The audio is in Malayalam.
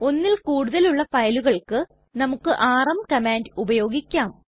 ഒന്നിൽ കൂടുതലുള്ള ഫയലുകള്ക്ക് നമുക്ക് ആർഎം കമാൻഡ് ഉപയോഗിക്കാം